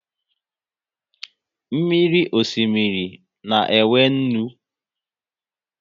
Mmiri osimiri na e nwe nnu